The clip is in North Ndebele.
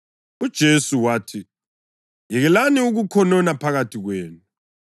UJesu wathi, “Yekelani ukukhonona phakathi kwenu.